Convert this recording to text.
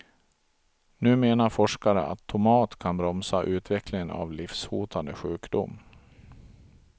Nu menar forskare att tomat kan bromsa utvecklingen av livshotande sjukdom.